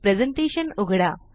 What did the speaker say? presentation उघडा